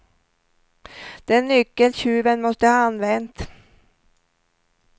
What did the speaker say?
Den nyckel tjuven måste ha använt.